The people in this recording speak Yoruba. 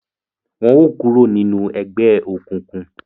Wọn o kuro ninu egbeokunkun!